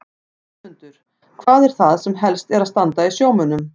Valmundur, hvað er það sem helst er að standa í sjómönnum?